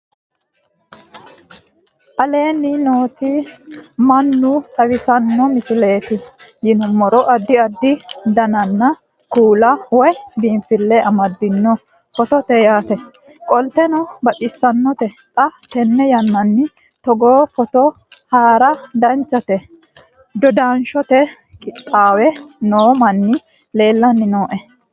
aleenni nooti mmannuaa xawisanno misileeti yinummoro addi addi dananna kuula woy biinfille amaddino footooti yaate qoltenno baxissannote xa tenne yannanni togoo footo haara danchate dodanshshote qixaawe noo manni leellanni nooe